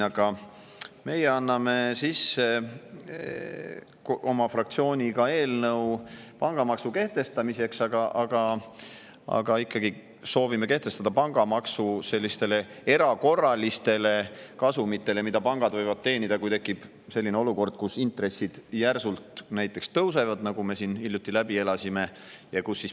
Ka meie anname oma fraktsiooniga sisse eelnõu pangamaksu kehtestamiseks, aga soovime kehtestada pangamaksu ikkagi sellistele erakorralistele kasumitele, mida pangad võivad teenida, kui tekib näiteks selline olukord, kus intressid järsult tõusevad, nagu me hiljuti läbi elasime.